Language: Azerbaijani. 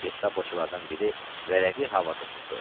Gestapoçulardan biri vərəqi havada tutdu.